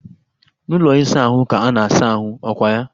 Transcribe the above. N'ụlọ ịsa ahụ ka a na asa ahụ, ọ kwa ya?